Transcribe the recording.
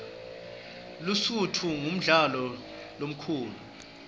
lusutfu ngumfula lomkhulu